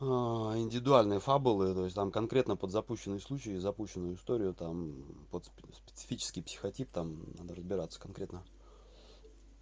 индивидуальные фабулы то есть там конкретно подзапущенные случаи запущенную историю там под специфический психотип там надо разбираться конкретно